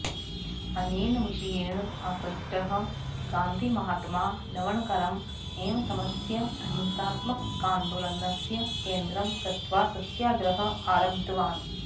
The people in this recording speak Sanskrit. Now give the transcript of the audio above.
अनेन विषयेण आकृष्टः गान्धिमहात्मा लवणकरम् एव स्वस्य अहिंसात्माकान्दोलनस्य केन्द्रं कृत्वा सत्याग्रहं आरब्दवान्